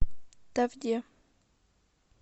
тавде